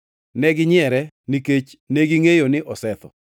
Neginyiere, nikech negingʼeyo ni osetho.